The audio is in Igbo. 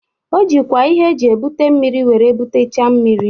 O jikwa ihe eji ebute mmiri were butacha mmiri